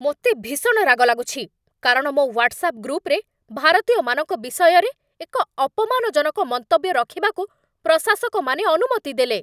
ମୋତେ ଭୀଷଣ ରାଗ ଲାଗୁଛି, କାରଣ ମୋ ହ୍ୱାଟ୍ସ୍ଆପ୍ ଗ୍ରୁପରେ ଭାରତୀୟମାନଙ୍କ ବିଷୟରେ ଏକ ଅପମାନଜନକ ମନ୍ତବ୍ୟ ରଖିବାକୁ ପ୍ରଶାସକମାନେ ଅନୁମତି ଦେଲେ।